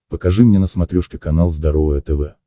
покажи мне на смотрешке канал здоровое тв